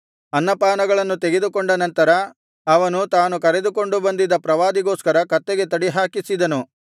ಅನ್ನಪಾನಗಳನ್ನು ತೆಗೆದುಕೊಂಡ ನಂತರ ಅವನು ತಾನು ಕರೆದುಕೊಂದು ಬಂದಿದ್ದ ಪ್ರವಾದಿಗೋಸ್ಕರ ಕತ್ತೆಗೆ ತಡಿಹಾಕಿಸಿದನು